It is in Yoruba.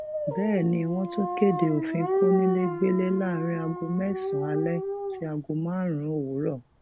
bẹẹ ni wọn tún kéde òfin kónílégbélé láàrin aago mẹsànán alẹ sí aago márùnún òwúrọ